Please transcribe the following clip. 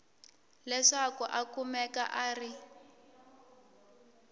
leswaku a kumeka a ri